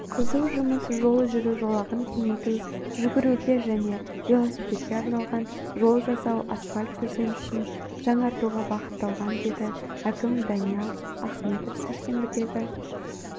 қызу жұмыс жол жүру жолағын кеңейту жүгіруге және велосипедке арналған жол жасау асфальт төсенішін жаңартуға бағытталған деді әкімі даниал ахметов сәрсенбідегі